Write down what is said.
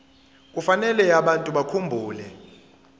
kufanele abantu bakhumbule